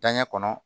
Danɲɛ kɔnɔ